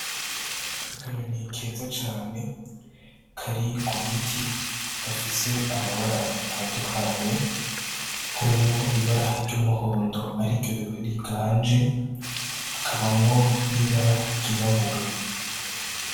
Akanyoni keza cane kari kugiti gafise amabara atandukanye, harimwo ibara ry'umuhondo ariryo riganje hakabamwo n'ibara ry'irabura.